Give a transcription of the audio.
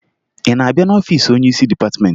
Ị na-abịa n'ọfiisi onyeisi dịpatịmentị?